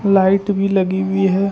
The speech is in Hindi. लाइट भी लगी हुई है।